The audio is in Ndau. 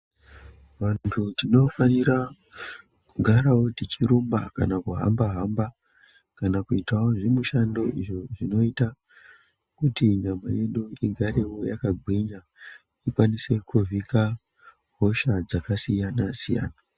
Vantu tinofanira kugarawo techirumba kana kuhamba hamba kana kuitawo zvimwe zvimushando izvo zvinoita kuti nyama yedu igarewo yakagwinya ikwanise kuvhika hosha dzakasiyana siyana.